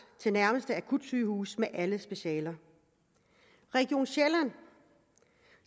til nærmeste akutsygehus med alle specialer region sjælland